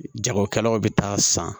Jagokɛlaw bɛ taa san